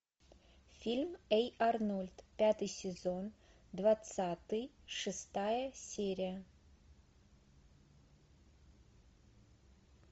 фильм эй арнольд пятый сезон двадцатый шестая серия